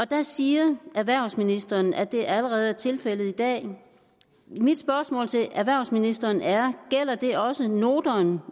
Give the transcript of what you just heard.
der siger erhvervsministeren at det allerede er tilfældet i dag mit spørgsmål til erhvervsministeren er gælder det også noterne